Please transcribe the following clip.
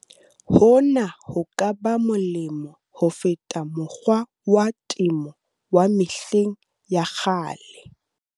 Hona ho ka ba molemo ho feta mokgwa wa temo wa mehleng ya kgale.